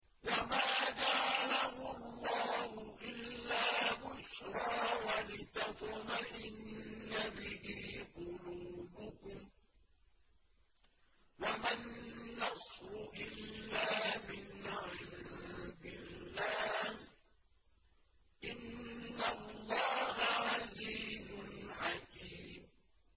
وَمَا جَعَلَهُ اللَّهُ إِلَّا بُشْرَىٰ وَلِتَطْمَئِنَّ بِهِ قُلُوبُكُمْ ۚ وَمَا النَّصْرُ إِلَّا مِنْ عِندِ اللَّهِ ۚ إِنَّ اللَّهَ عَزِيزٌ حَكِيمٌ